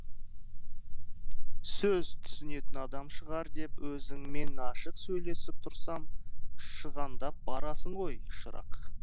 сөз түсінетін адам шығар деп өзіңмен ашық сөйлесіп тұрсам шығандап барасың ғой шырақ